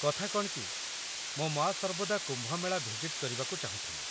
କଥା କ'ଣ କି, ମୋ ମା' ସର୍ବଦା କୁମ୍ଭ ମେଳା ଭିଜିଟ୍ କରିବାକୁ ଚାହୁଁଥିଲେ